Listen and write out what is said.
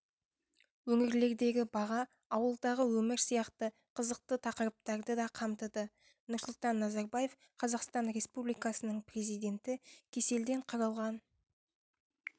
өңірлердегі баға ауылдағы өмір сияқты қызықты тақырыптарды да қамтыды нұрсұлтан назарбаев қазақстан республикасының президенті кеселден қырылған